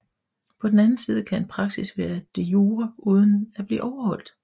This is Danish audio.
På den anden side kan en praksis være de jure uden at blive overholdt